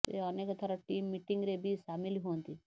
ସେ ଅନେକ ଥର ଟିମ୍ ମିଟିଂରେ ବି ସାମିଲ ହୁଅନ୍ତି